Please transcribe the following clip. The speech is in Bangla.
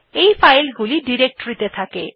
এই ফাইলগুলি ডিরেক্টরীতে থাকে